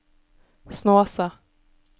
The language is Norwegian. Snåsa